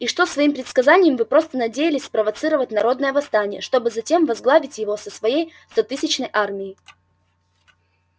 и что своим предсказанием вы просто надеялись спровоцировать народное восстание чтобы затем возглавить его со своей стотысячной армией